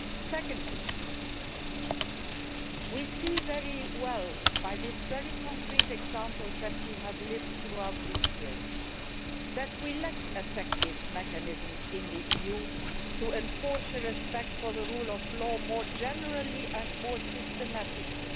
Secondly, we can see very well by these very concrete examples that we have experienced this year that we lack effective mechanisms in the EU to enforce respect for the rule of law more generally and more systematically.